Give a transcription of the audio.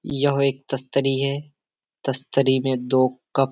यह एक तस्तरी है। तस्तरी में दो कप --